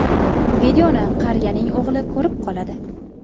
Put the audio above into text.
Videoni qariyaning o‘g‘li ko‘rib qoladi.